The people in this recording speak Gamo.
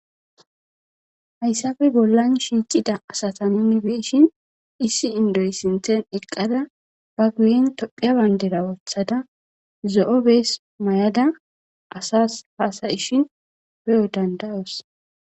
Hayssafe bollan shiicida asata nunibeshin issi indoy sinthen eqqada ba gu7en tophiya bayndera wothada zo7o bees may7ada asas haasayishin be7o dandayos.